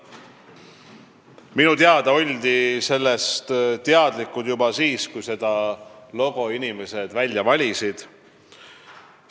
Minu teada oldi sellest teadlikud juba siis, kui inimesed meie logo välja valisid.